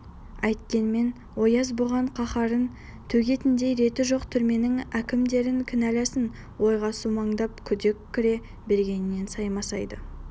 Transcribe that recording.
әйткенмен ояз бұған қаһарын төгетіндей реті жоқ түрменің әкімдерін кінәласын ойға сумаңдап күдік кіре бергенмен саймасайды